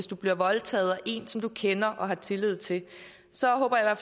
blive voldtaget af en som du kender og har tillid til så håber jeg